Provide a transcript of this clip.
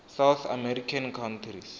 south american countries